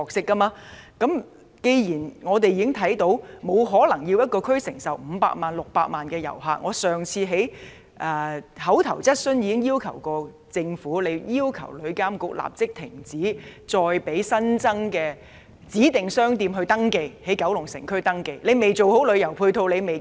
既然我們不可能要求一個地區承受五六百萬人次的旅客，我上次提出口頭質詢時也提到，政府必須要求旅議會立即停止接受新增指定商店在九龍城區營業的登記。